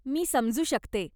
मी समजू शकते.